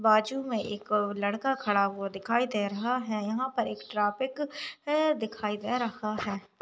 बाजू में एक लड़का खड़ा वो दिखाई दे रहा है यहापर एक ट्राफिक है दिखाई दे रहा है।